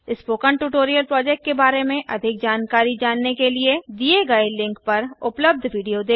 spoken tutorial project के बारें में अधिक जानने के लिए httpspoken tutorialorgWhat is a Spoken Tutorial पर उपलब्ध विडियो देखें